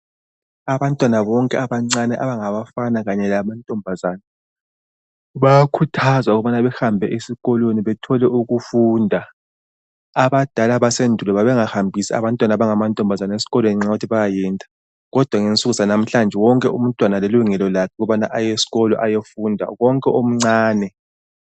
Abantwana bonke abancane abangabafana kanye lamantombazana bayakhuthazwa ukubana behambe esikolweni bethole ukufunda, abadala basendulo babengahambisi abantwana abangamantombazana esikolweni ngenxa yokuthi bayayenda. Kodwa ngensuku zanamhlanje wonke umntwana ulelungelo lakhe ukubana ayeskolo ayefunda konke omncane